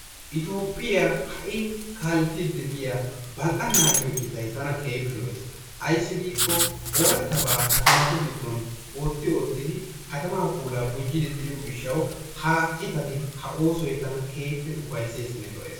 Itoophphiyaa ha'i kaalettiidi diyaa balla"ana giyoo ciitay tana keehippe lo"ees. ayssi giikko arattabaa katamatu giddon otti oottidi katamaa puulaa gujji giishshawu ha ciittati ha oosoy tana keehippe ufaysseesinne lo"ees.